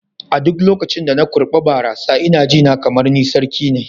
A duk lokacin da na kurɓa barasa ina ji ne kamar ni sarki ne.